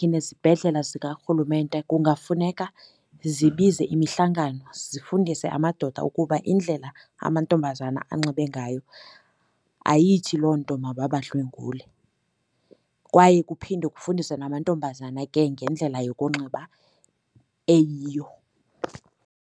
Nezibhedlela zikarhulumente kungafuneka zibize imihlangano zifundise amadoda ukuba indlela amantombazana anxibe ngayo ayithi loo nto mababadlwengule. Kwaye kuphinde kufundiswe namantombazana ke ngendlela yokunxiba eyiyo.